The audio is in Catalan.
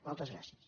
moltes gràcies